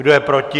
Kdo je proti?